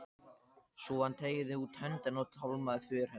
Svo hann teygði út höndina og tálmaði för hennar.